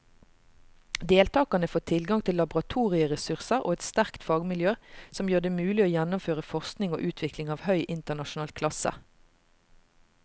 Deltakerne får tilgang til laboratorieressurser og et sterkt fagmiljø som gjør det mulig å gjennomføre forskning og utvikling av høy internasjonal klasse.